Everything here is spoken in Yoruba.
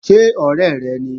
Ṣé ọ̀rẹ́ rẹ ni?